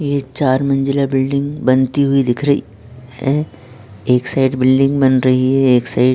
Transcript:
ये चार मंजिला बिल्डिंग बनती हुई दिख रही है एक साइड बिल्डिंग बन रही है एक साइड --